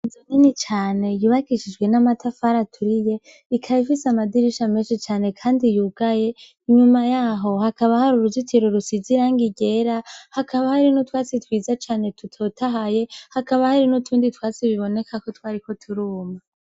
Inzu nini cane yubakishijwe n'amatafari aturiye ikaba ifise amadirisha meshi cane kandi yugaye. Inyuma yaho hakaba har'uruzitiro rusize irangi ryera, hakaba hari n'utwatsi twiza cane dutotahaye, hakaba hari n'utundi twatsi bibonekako twariko turuma.